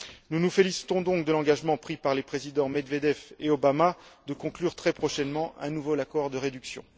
Nous nous félicitons donc de l'engagement pris par les présidents Medvedev et Obama de conclure très prochainement un nouvel accord de réduction.